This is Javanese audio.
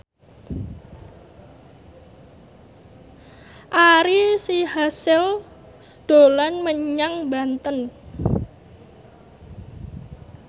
Ari Sihasale dolan menyang Banten